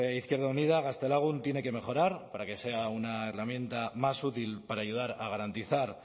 izquierda unida gaztelagun tiene que mejorar para que sea una herramienta más útil para ayudar a garantizar